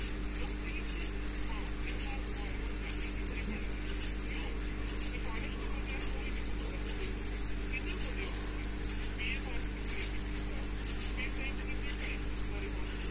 ਨੌਕਰੀ ਲੱਭਣ? ਹਾਂ, ਤਿੰਨ ਵਾਰ ਹੋ ਆਇਆ ਵਾਂ, ਗੱਲ ਹੀ ਨੀਂ ਪਈ ਬਣਦੀ। ਕਿਉਂ? ਸਿਫ਼ਰਿਸ਼ ਤੋਂ ਬਿਨਾਂ ਕੋਈ ਨੀਂ ਪੁੱਛਦਾ ਕਿਸੇ ਨੂੰ। ਕਿੰਨਾ ਪੜ੍ਹੇ ਓਂ ਤੁਸੀਂ? ਬੀ. ਏ. ਪਾਸ ਕੀਤੀ ਆ, ਪਿਛਲੇ ਸਾਲ। ਫਿਰ ਕਈ ਮਹੀਨੇ ਟਾਈਪ ਸਿੱਖਦਾ ਰਿਹਾ।